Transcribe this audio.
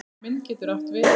Mynd getur átt við